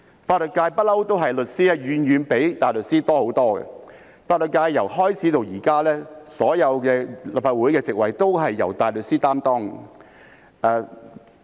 法律界一向都是律師的人數遠比大律師多很多，法律界從開始至今，所有立法會議席都是由大律師擔任。